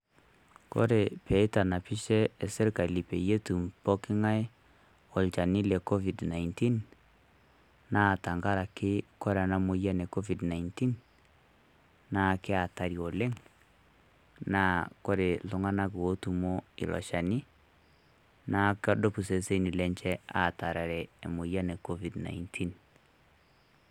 Kore pee eitanapishe sirikali peyie otum pooki ng'ai olchani le Covid-19, naa tang'araki kore ana moyian e Covid-19 naa keaatari oleng naa kore ltung'anak otumo elo lchani naa keduup sesen atarere emoyian e Coid-19.